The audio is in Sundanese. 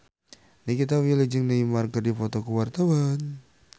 Nikita Willy jeung Neymar keur dipoto ku wartawan